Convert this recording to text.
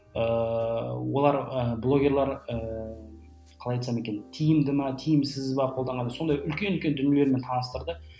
ыыы олар ы блогерлар ыыы қалай айтсам екен тиімді ме тиімсіз бе қолданған сондай үлкен үлкен дүниелермен таныстырды